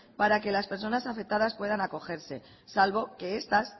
para que las personas afectadas puedan acogerse salvo que estas